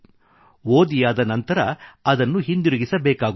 ಓದಿಯಾದ ನಂತರ ಅದನ್ನು ಹಿಂದಿರುಗಿಸಬೇಕಾಗುತ್ತದೆ